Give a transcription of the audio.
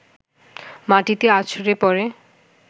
মাটিতে আছড়ে পড়ে